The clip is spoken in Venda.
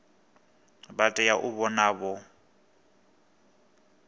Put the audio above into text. vha tea u vha vho